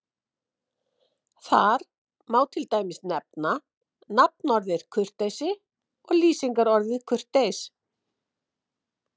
Þar má til dæmis nefna nafnorðið kurteisi og lýsingarorðið kurteis.